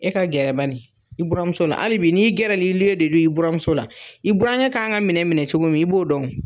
E ka gɛrɛ baɲi i buranmuso la ali bi' n'i gɛrɛlilen de don i buramuso la i burankɛ kan ka minɛ minɛ cogo min i b'o dɔn o